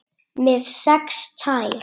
Með sex tær?